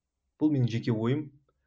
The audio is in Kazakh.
бұл менің жеке ойым